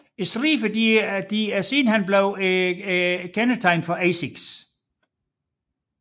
Striberne er sidenhen blevet kendetegnet for Asics